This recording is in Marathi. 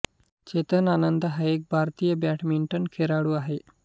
चेतन आनंद हा एक भारतीय बॅडमिंटन खेळाडू आहे